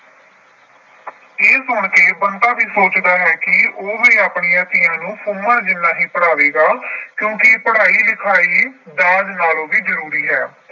ਇਹ ਸੁਣ ਕੇ ਬੰਤਾ ਵੀ ਸੋਚਦਾ ਹੈ ਕਿ ਉਹ ਵੀ ਆਪਣੀਆਂ ਧੀਆਂ ਨੂੰ ਸੁਮਨ ਜਿੰਨਾ ਹੀ ਪੜਾਵੇਗਾ ਕਿਉਂਕਿ ਪੜਾਈ-ਲਿਖਾਈ ਦਾਜ ਨਾਲੋਂ ਵੀ ਜਰੂਰੀ ਹੈ।